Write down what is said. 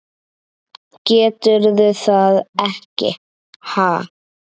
Geturðu það ekki, ha?